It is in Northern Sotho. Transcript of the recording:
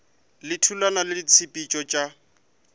le thulano ya ditshepetšo tša